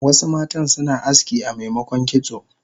Wasu matan suna aski amemokon kitso